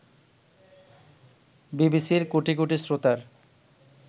বিবিসির কোটি কোটি শ্রোতার